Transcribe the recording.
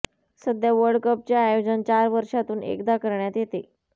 सध्या वर्ल्ड कपचे आयोजन चार वर्षातून एकदा करण्यात येते